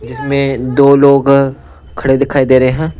इसमें दो लोग खड़े दिखाई दे रहे हैं।